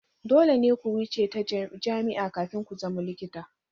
Dole ne ku wuce ta jami'a kafin ku zama likita.